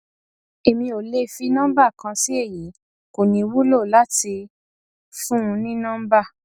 èmi ò le fi nọmbà kan sí èyí kò ní wúlò láti fún un ní nọmbà